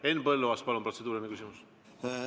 Henn Põlluaas, palun, protseduuriline küsimus!